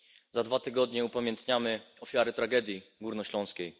Za dwa tygodnie upamiętnimy ofiary Tragedii Górnośląskiej.